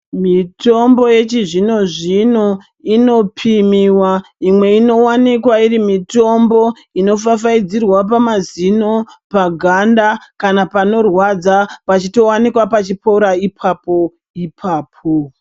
Mitombo yechizvino zvino inopimiwa imwe inowanikwa irimitombo inofafaidzirwa pamazino paganda kana panorwadza pachitowanikwa pachipora ipapo ipapo